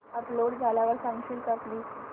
upload झाल्यावर सांगशील का प्लीज